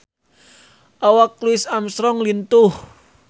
Awak Louis Armstrong lintuh